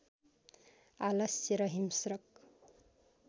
आलस्य र हिंस्रक